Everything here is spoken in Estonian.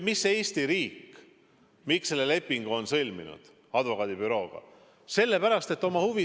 Miks Eesti riik selle lepingu advokaadibürooga on sõlminud?